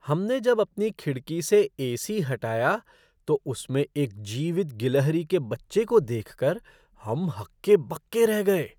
हमने जब अपनी खिड़की से ए सी हटाया, तो उसमें एक जीवित गिलहरी के बच्चे को देखकर हम हक्के बक्के रह गए।